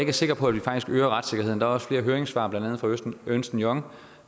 er sikker på at vi faktisk øger retssikkerheden der er også flere høringssvar blandt andet fra ernst young